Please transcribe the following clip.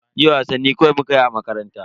Jiya wasanni kawai mukayi a makaranta.